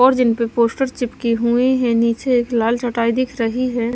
और जिन पर पोस्टर चिपकी हुई है नीचे एक लाल चटाई दिख रही है।